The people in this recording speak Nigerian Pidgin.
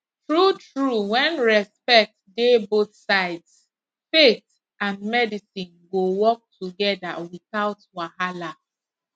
true true when respect dey both sides faith and medicine go work together without wahala